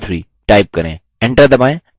enter दबाएँ